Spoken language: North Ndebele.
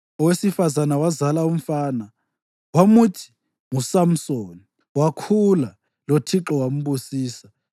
Owesifazane wazala umfana wamuthi nguSamsoni. Wakhula loThixo wambusisa,